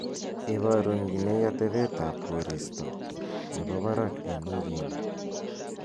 iborun kii nei atebtab koristo nebo barak en wigini